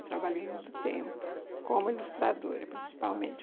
Eu trabalhei muito tempo como ilustradora, principalmente.